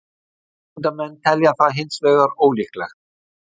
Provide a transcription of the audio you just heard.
Vísindamenn telja það hins vegar ólíklegt.